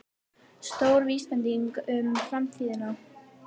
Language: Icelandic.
Stór vísbending um framtíðina